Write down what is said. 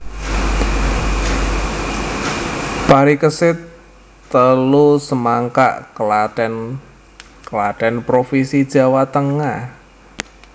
Parikesit telu Semangkak Klaten Klaten provinsi Jawa Tengah